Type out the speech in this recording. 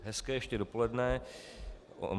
Hezké ještě dopoledne.